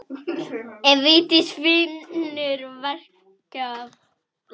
Ef Vigdís finnur veikan blett.